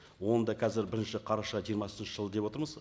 оны да қазір бірінші қараша жиырмасыншы жыл деп отырмыз